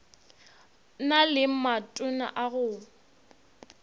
na le matona a go